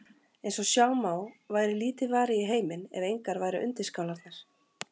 Eins og sjá má væri lítið varið í heiminn ef engar væru undirskálarnar.